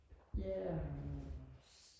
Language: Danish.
ja